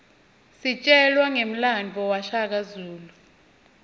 sitjelwa ngemlandvo washaka zulu